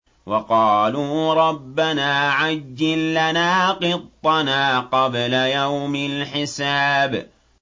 وَقَالُوا رَبَّنَا عَجِّل لَّنَا قِطَّنَا قَبْلَ يَوْمِ الْحِسَابِ